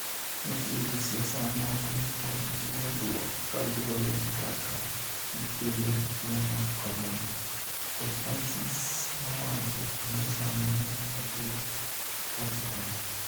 "Nitie josiasa moko mopong' gi wuondruok, kaluwore gi kaka gikedo gi tuo mar Corona", Pope Francis nowacho e misa ma ne otim Vatican.